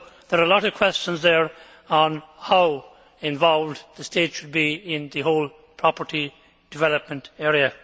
So there are a lot of questions there on how involved the state should be in the whole property development area.